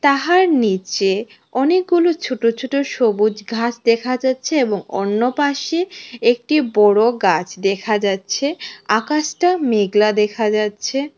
তাহার নিচে অনেকগুলো ছোট ছোট সবুজ ঘাস দেখা যাচ্ছে এবং অন্য পাশে একটি বড় গাছ দেখা যাচ্ছে আকাশটা মেঘলা দেখা যাচ্ছে।